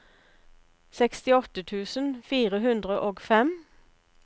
sekstiåtte tusen fire hundre og fem